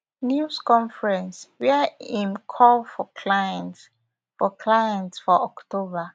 news conference wia im call for clients for clients for october